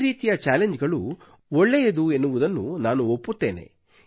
ಈ ರೀತಿಯ ಚಾಲೆಂಜ್ ಗಳು ಒಳ್ಳೆಯದು ಎನ್ನುವುದನ್ನು ನಾನು ಒಪ್ಪುತ್ತೇನೆ